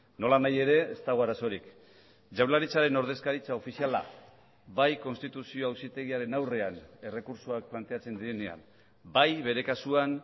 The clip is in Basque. nolanahi ere ez dago arazorik jaurlaritzaren ordezkaritza ofiziala bai konstituzio auzitegiaren aurrean errekurtsoak planteatzen direnean bai bere kasuan